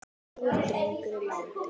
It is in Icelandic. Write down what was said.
Ljúfur drengur er látinn.